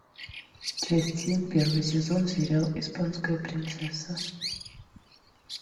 часть семь первый сезон сериал испанская принцесса